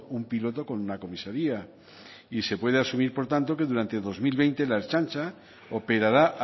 un piloto con una comisaría y se puede asumir por tanto que durante dos mil veinte la ertzaintza operará